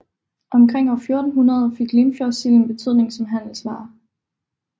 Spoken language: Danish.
Omkring år 1400 fik Limfjordssilden betydning som handelsvare